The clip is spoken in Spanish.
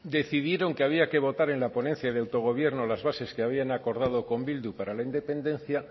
decidieron que había que votar en la ponencia de autogobierno las bases que habían acordado con bilbu para la independencia